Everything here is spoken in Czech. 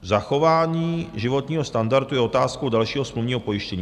Zachování životního standardu je otázkou dalšího smluvního pojištění.